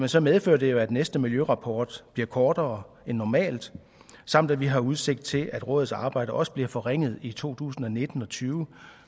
så medfører det jo at næste miljørapport bliver kortere end normalt samt at vi har udsigt til at rådets arbejde også bliver forringet i to tusind og nitten og tyve